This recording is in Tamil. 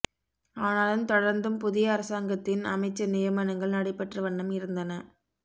ஆனாலும் தொடர்ந்தும் புதிய அரசாங்கத்தின் அமைச்சு நியமனங்கள் நடைப்பெற்ற வண்ணம் இருந்தன